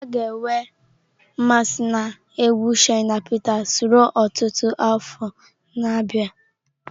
A ga-enwe mmasị na egwu Shina Peters ruo ọtụtụ afọ na-abịa.